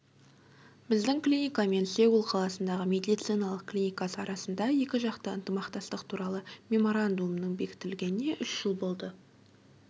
біздің клиника мен сеул қаласындағы медициналық клинкасы арасындағы екіжақты ынтымақтастық туралы меморандумның бекітілгеніне үш жыл болды